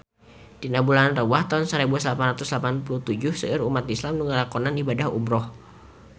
Dina bulan Rewah taun sarebu salapan ratus salapan puluh tujuh seueur umat islam nu ngalakonan ibadah umrah